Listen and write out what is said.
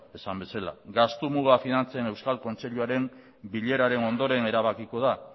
esan bezala gastu muga finantzen euskal kontseiluaren bileraren ondoren erabakiko da